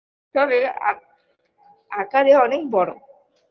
তবে আক আকারে অনেক বড়ো